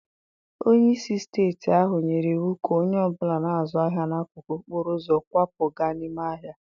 Onye isi steeti ahụ nyere iwu ka onye ọ bụla na-azụ ahịa n'akụkụ okporo ụzọ kwapụ gaa n'ime ahịa.